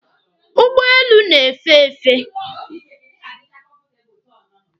Ụgbọelu na-efe efe.